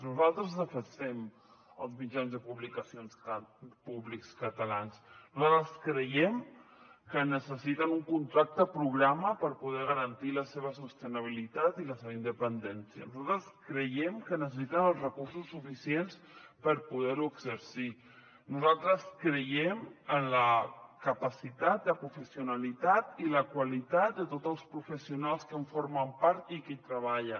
nosaltres defensem els mitjans públics catalans nosaltres creiem que necessiten un contracte programa per poder garantir la seva sostenibilitat i la seva independència nosaltres creiem que necessiten els recursos suficients per poder exercir nosaltres creiem en la capacitat la professionalitat i la qualitat de tots els professionals que en formen part i que hi treballen